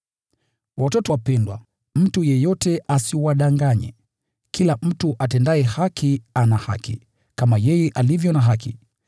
Watoto wapendwa, mtu yeyote asiwadanganye. Kila mtu atendaye haki ana haki, kama yeye alivyo na haki.